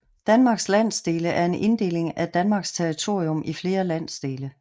Danmarks landsdele er en inddeling af Danmarks territorium i flere landsdele